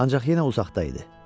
Ancaq yenə uzaqda idi.